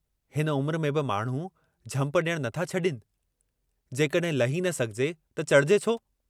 हिन उम्र में बि माण्हू झंप डियणु नथा छडीनि, जेकडहिं लही न सघिजे त चढ़िजे छो?